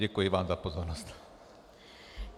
Děkuji vám za pozornost.